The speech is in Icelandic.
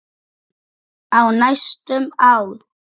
Í næstum ár.